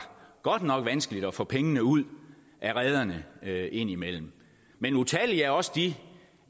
godt nok vanskeligt at få pengene ud af rederne indimellem men utallige er også de